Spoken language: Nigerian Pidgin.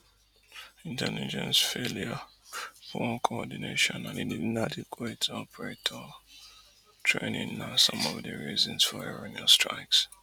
intelligence failure poor coordination and inadequate operator training na some of di reasons for erroneous strikes